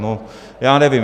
No, já nevím.